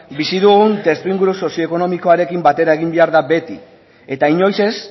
bizi dugun testu inguru sozio ekonomikoarekin batera egin behar da beti eta inoiz ez